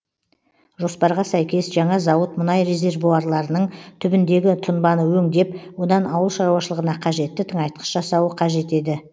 жоспарға сәйкес жаңа зауыт мұнай резервуарларының түбіндегі тұнбаны өңдеп одан ауыл шаруашылығына қажетті тыңайтқыш жасауы қажет еді